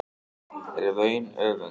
er vaun öfund